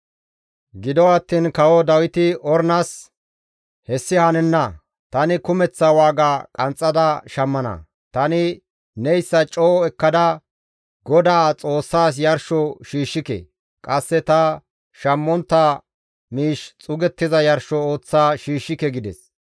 Gido attiin kawo Dawiti Ornas, «Hessi hanenna! Tani kumeththa waaga qanxxada shammana; tani neyssa coo mela ekkada Godaa Xoossaas yarsho shiishshike; qasse ta shammontta miish xuugettiza yarsho ooththa shiishshike» gides.